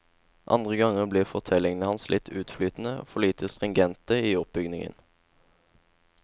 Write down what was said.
Andre ganger blir fortellingene hans litt utflytende, for lite stringente i oppbygningen.